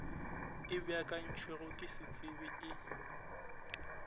e beakantšwego ke setsebi e